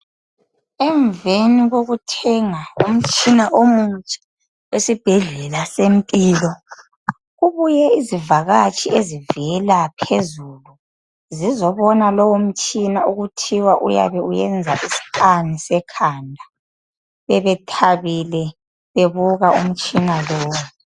Emveni kokuthenga umtshina omutsha esibhedlela seMpilo. Kubuye izivakatshi ezivela phezulu zizobona lowo mtshina okuthiwa uzabe uyenza iscan sekhanda. Bebethabile bebuka umtshina lowu.